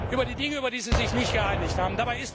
Über die Dinge, über die sie sich nicht geeinigt haben.